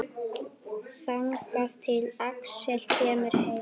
Þangað til Axel kemur heim.